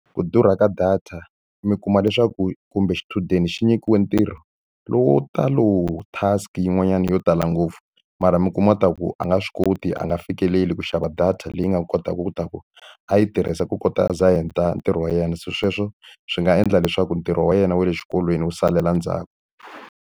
Ku durha ka data, mi kuma leswaku kumbe xichudeni xi nyikiwe ntirho lowu wo tala. Task-i yin'wanyana yo tala ngopfu, mara mi kuma leswaku a nga swi koti nga fikeleli ku xava data leyi nga kotaka leswaku a yi tirhisa ku kota za heta ntirho wa yena. Se sweswo swi nga endla leswaku ntirho wa yena wa le xikolweni wu salela endzhaku.